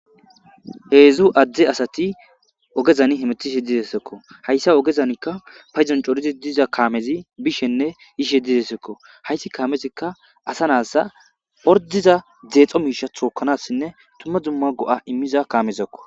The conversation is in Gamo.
Heedzdzu adde asati ogezani hemetiishe didessekko hayssa ogezanikka payzon corizi diza kaamezi bishenne ishe didesekko hayssi kaamezikka asa naassa ordiza zeexo miisha thookanassinne tumma dzumma go'a immiza kaamezakko.